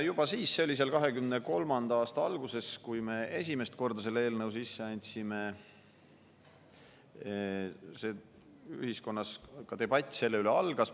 Juba siis, see oli 2023. aasta alguses, kui me esimest korda selle eelnõu sisse andsime, algas ühiskonnas debatt selle üle.